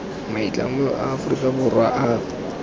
maitlamo a aforika borwa a